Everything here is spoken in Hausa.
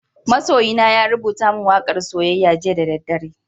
Masoyina ya rubuta min waka'n soyayya jiya da dare.